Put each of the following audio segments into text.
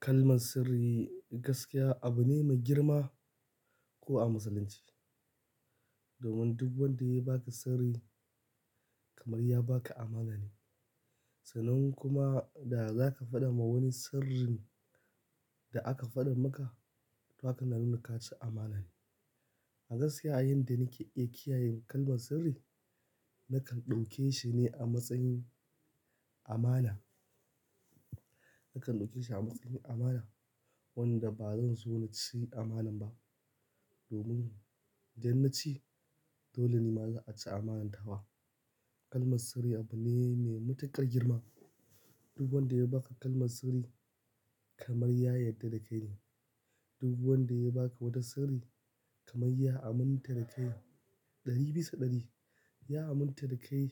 Kalman sirri gaskiya abu ne mai girma ko a Musulunci. Domin duk wanda ya baka sirri kamar ya baka amana ne. Sannan kuma da za ka faɗa ma wani sirrin, da aka faɗan maka, to haka na nuna ka ci amana ne. A gaskiya, yan da nake iya kiyaye kalmar sirri, na kan ɗauke shi ne a matsayin amana. Na kan ɗauke shi a matsayin amana, wanda ba zan so na cin amanan ba. Domin idan na ci, dole ni ma za'a ci amanan ta wa. Kalman sirri abu ne, me matuƙar girma. Duk wanda ya baka kalman sirri, kaman ya yadda da kai ne. Duk wanda ya baka wata sirri, kaman ya aminta da kai. Ɗari bisa ɗari, ya aminta da kai,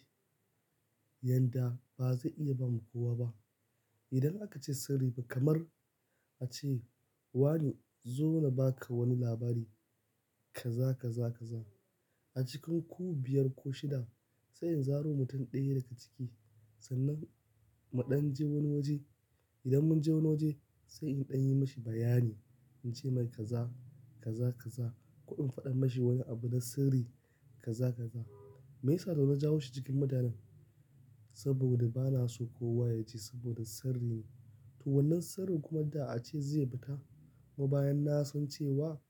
yanda ba zai iya ba ma kowa ba. Idan aka ce sirri fa, kamar a ce, wane zo na ba ka wani labari kaza, kaza, kaza. A cikin ku biyar ko shida, sai in zaro mutum ɗaya daga ciki. Sannan mu ɗan je wani waje. Idan mun je wani waje, sai in ɗan yi mishi bayani. In ce mai kaza, kaza, kaza. Ko in faɗa mashi wani abu na sirri kaza kaza. Me yasa da na jawo shi cikin mutanen? Saboda ba na so kowa ya ji saboda sirri ne. To wannan sirrin kuma da a ce zai yi fita, kuma bayan na san cewa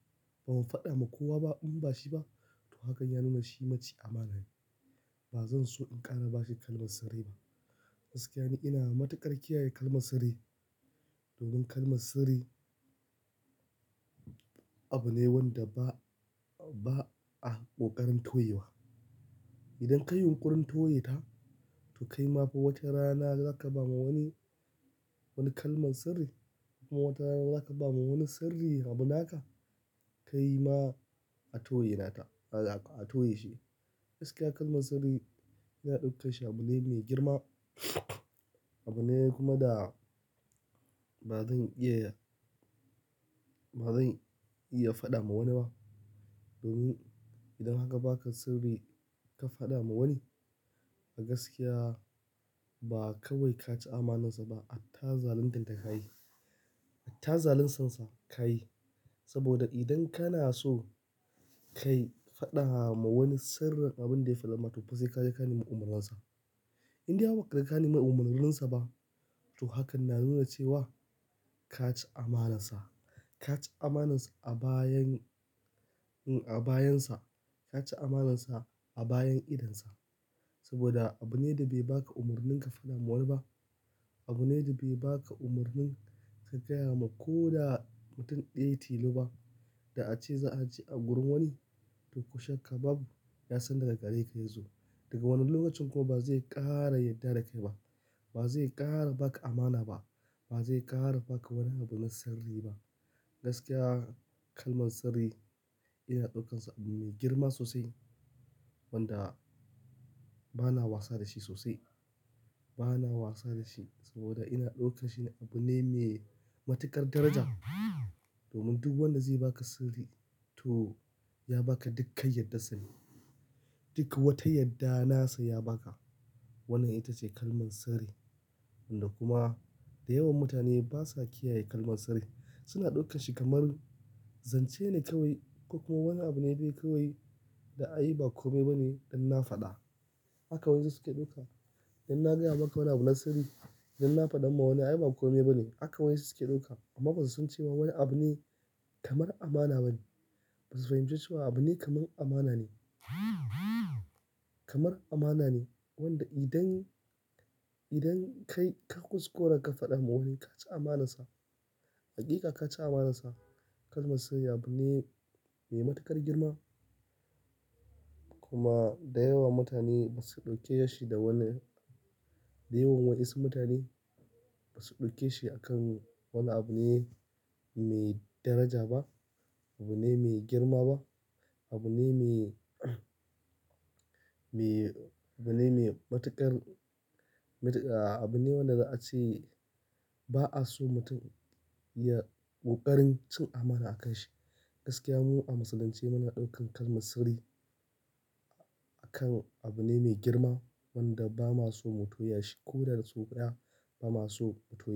ban faɗa ma kowa ba in bashi ba, to hakan ya nuna shi maci amana ne. Ba zan so in ƙara bashi kalmar sirri ba. Gaskiya ni ina matuƙar kiyaye kalman sirri. Domin kalman sirri abu ne wanda ba, ba a ƙoƙarin toye wa. Idan ka yin ƙurin toye ta, to kai ma wata rana za ka ba ma wani, wani kalman sirri. Wata rana za ka ba wani sirri abu naka, kai ma a toye naka. A toye shi. Gaskiya kalman sirri, ina ɗaukan shi abu ne mai girma. Abu ne kuma da ba zan iya, ba zan iya faɗa ma wani ba. Domin idan aka baka sirri ka faɗa ma wani, a gaskiya ba kawai ka ci amanansa ba, hatta zaluntan ta ka yi. Hatta zalun san sa ka yi. Saboda idan kana so, ka faɗa ma wani sirrin abin da ya faɗa maka, to fa sai ka je ka nemi umarnin sa. In dai har ba kaje ka nemi umarnin sa ba, to hakan na nuna cewa ka ci amanansa. Ka ci amanar sa a bayan, a bayansa. Ka ci amanansa a bayan idonsa. Saboda abu ne da bai baka umarnin ka faɗa ma wani ba. Abu ne da bai baka umarnin ka gaya ma ko da mutum ɗaya ya tilo ba. Da a ce za'a ji a gurin wani, to ko shakka babu ya san daga gare ka ya zo. Daga wannan lokacin kuma ba zai ƙaara yadda da kai ba. Ba zai ƙara ba ka amana ba. Ba zai ƙaara ba ka wani abu na sirri ba. Gaskiya kalman sirri, ina ɗaukansa abu mai girma sosai, wanda bana wasa da shi sosai. Bana wasa da shi saboda ina ɗauke shi ne abu ne mai matuƙar daraja. Domin duk wanda zai baka sirri to ya baka dukkan yaddansa ne. Duk wata yadda nasa ya baka. Wannan ita ce kalman sirri. Wanda kuma da yawan mutane basa kiyaye kalman sirri. Suna ɗaukan shi kamar, zance ne kawai, ko kuma wani abu ne dai kawai, da ai ba komai ba ne, inna faɗa. Haka wasu su suke ɗauka. Idan na gaya maka wani abu na sirri, idan na faɗan ma wani ai ba komai ba ne. Haka wasu suke ɗauka. Amma ba su san cewa wani abu ne kamar amana ba ne. Ba su fahimci cewa abu ne kamar amana ne. Kamar amana ne, wanda idan, idan kai ka kuskura ka faɗa ma wani ka ci amanansa. Hakika ka ci amanansa. Kalman sirri abu ne mai matuƙar girma. Kuma da yawan mutane ba su ɗauke shi da wani, da yawan wasu mutane ba su ɗauke shi akan wani abu ne mai daraja ba. Abu ne mai girma ba. Abu ne mai, mai, abu ne mai matuƙar, abu ne wanda za'a ce ba'a so mutum ya ƙoƙarin cin amana akan shi. Gaskiya mu a Musulunce muna ɗaukan kalman sirri, akan abu ne mai girma, wanda ba ma so mu toya shi, ko da sau ɗaya, ba ma so mu toya.